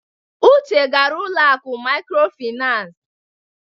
Uche gara ụlọ akụ mikrofinas.